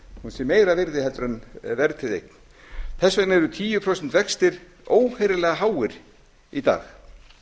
sé meira virði heldur en verðtryggð eign þess vegna eru tíu prósent vextir óheyrilega háir í dag